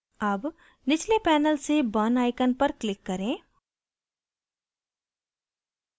अब निचले panel से burn icon पर click करें